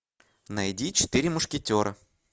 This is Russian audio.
найди четыре мушкетера